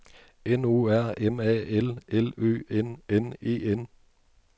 N O R M A L L Ø N N E N